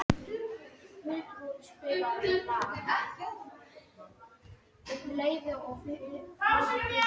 Álfgerður, ekki fórstu með þeim?